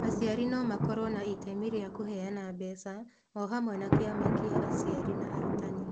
Aciari no makorũo na itemi rĩa kũheana mbeca o hamwe na kĩama kĩa aciari na arutani.